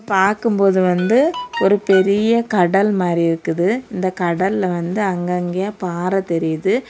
பாக்கும்போது வந்து ஒரு பெரிய கடல் மாரி இருக்குது இந்த கடல்ல வந்து அங்கங்கையா பாற தெரியுது.